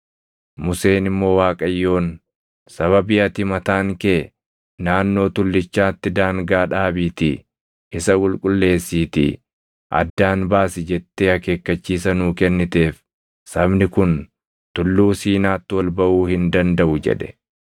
Museen immoo Waaqayyoon, “Sababii ati mataan kee, ‘Naannoo Tullichaatti daangaa dhaabiitii isa qulqulleessiitii addaan baasi’ jettee akeekkachiisa nuu kenniteef sabni kun Tulluu Siinaatti ol baʼuu hin dandaʼu” jedhe.